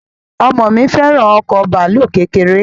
Ọmọ mi fẹ́ràn ọkọ bàálù kékeré